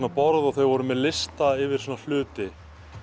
borð og þau voru með lista yfir hluti